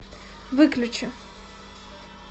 выключи